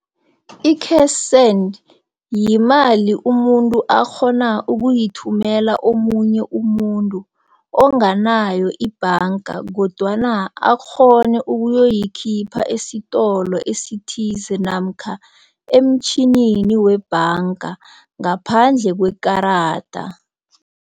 I-cash send yimali umuntu akghona ukuyithumela omunye umuntu onganayo ibhanga kodwana akghone ukuyoyikhipha esitolo esithize namkha emtjhinini webhanga ngaphandle kwekarada.